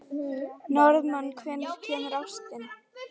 Norðmann, hvenær kemur ásinn?